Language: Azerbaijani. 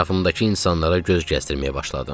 Ətrafımdakı insanlara göz gəzdirməyə başladım.